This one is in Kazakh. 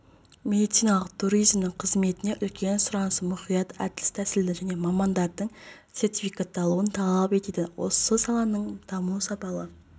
медициналық туризмнің қызметіне үлкен сұраныс мұқият әдіс-тәсілді және мамандардың сертификатталуын талап етеді осы саланың дамуы сапалы